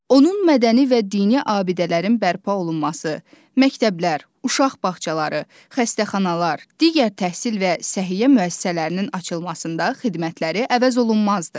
Onun mədəni və dini abidələrin bərpa olunması, məktəblər, uşaq bağçaları, xəstəxanalar, digər təhsil və səhiyyə müəssisələrinin açılmasında xidmətləri əvəzolunmazdır.